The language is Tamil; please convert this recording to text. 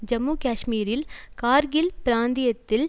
ஜம்மு காஷ்மீரில் கார்கில் பிராந்தியத்தில்